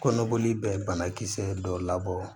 Kɔnɔboli bɛ banakisɛ dɔw labɔ